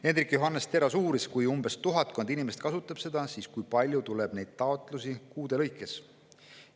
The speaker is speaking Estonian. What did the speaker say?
Hendrik Johannes Terras uuris, et kui seda kasutab tuhatkond inimest, kui palju siis tuleb neid taotlusi kuude lõikes.